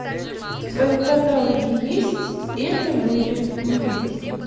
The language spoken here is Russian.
в твоем каталоге есть это были мы